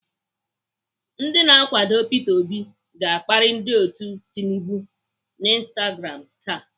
Ndị na-akwado Peter obi ga-akparị ndị otu Tinubu n'Instagram taa.